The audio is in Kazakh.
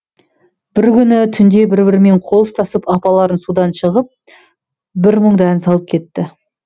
бір күні түнде бір бірімен қол ұстасып апалары судан шығып бір мұңды ән салып кетті